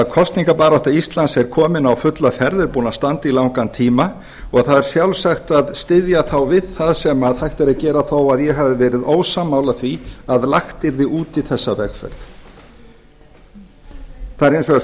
kosningabarátta íslands er komin á fulla ferð er búin að standa í langan tíma og það er sjálfsagt að styðja þá við það sem hægt er að gera þó ég hafi verið ósammála því að lagt yrði út í þessa vegferð það er hins vegar